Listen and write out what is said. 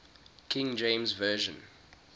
king james version